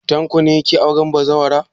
Tanko ne yake auren bazawara.